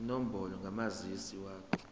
inombolo kamazisi wakho